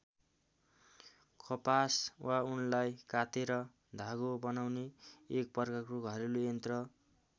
कपास वा उनलाई कातेर धागो बनाउने एक प्रकारको घरेलु यन्त्र।